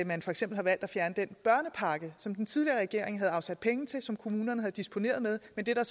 man for eksempel har valgt at fjerne den børnepakke som den tidligere regering havde afsat penge til og som kommunerne havde disponeret med men det er